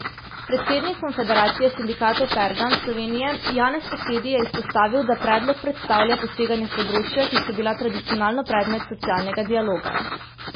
Predsednik Konfederacije sindikatov Pergam Slovenije Janez Posedi je izpostavil, da predlog predstavlja poseganje v področja, ki so bila tradicionalno predmet socialnega dialoga.